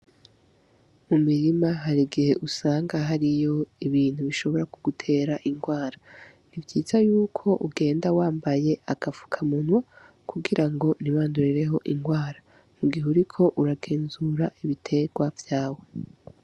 Mu mirima hari igihe usanga hariyo ibintu bishobora ku gutera ingwara ntivyiza yuko ugenda wambaye agapfuka mu nwa kugira ngo ntibandurireho ingwara mu gihe uriko uragenzura ibiterwa vyawe.